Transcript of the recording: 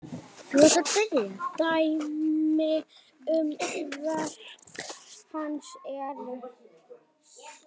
Dæmi um verk hans eru